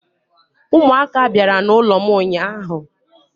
umuaka biara n'ulom unyanya